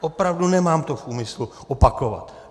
Opravdu, nemám to v úmyslu opakovat.